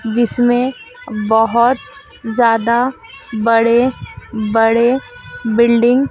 जिसमें बहोत ज्यादा बड़े बड़े बिल्डिंग --